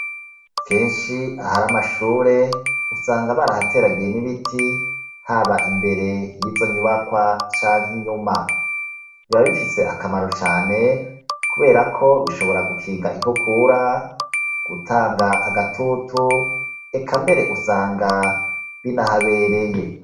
Kenshi ahari amashure usanga barahateragiye n'ibiti haba imbere yizo nyubakwa canke inyuma, biba bifise akamaro cane kubera ko bishobora gukinga inkukura, gutanga agatutu, eka mbere usanga binahabereye.